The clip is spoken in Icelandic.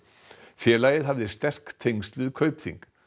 félagið hafði sterk tengsl við Kaupþing